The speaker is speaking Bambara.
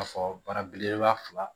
Ka fɔ bana belebeleba fila